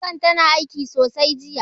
Fankar tana aiki sosai jiya.